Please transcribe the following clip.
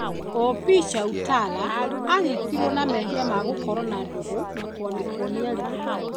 OP Chautala anyitirwe na mebia ma gũkorwa na ndũgũ na kwandĩkwo nĩ arimũ